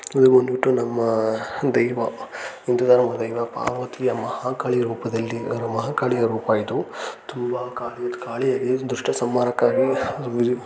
ಇದು ಬಂದ್ಬಿಟ್ಟು ನಮ್ಮ ದೇವ ಒಂದರ ಪಾರ್ವತಿಯ ಮಹಾಕಾಳಿಯ ರೂಪದಲ್ಲಿ ಮಹಾಕಾಳಿಯ ರೂಪ ಇದು ತುಂಬ ಕಾಳಿ ಹೇಗೆ ದೃಷ್ಟ ಸಂಹಾರಕ್ಕಾಗಿ --